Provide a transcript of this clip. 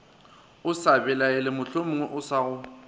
belaele mohlomongwe o sa go